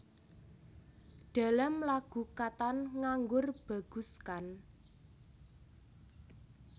Dalam lagu katan nganggur bagus kan